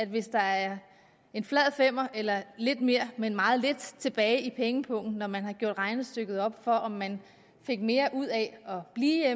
hvis der er en flad femmer eller lidt mere men meget lidt tilbage i pengepungen når man har gjort regnestykket op for om man fik mere ud af at blive